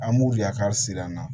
An b'u yakari siran na